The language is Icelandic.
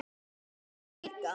Þekkir þú hana líka?